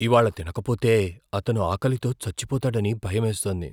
ఇవాళ్ళ తినకపోతే అతను ఆకలితో చచ్చిపోతాడని భయమేస్తోంది.